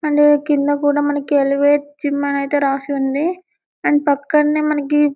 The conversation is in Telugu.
అండ్ కింద కుడా మనకి ఎవతె జిమ్ అని రాసి ఉంది అండ్ పక్కన్నే మనకి--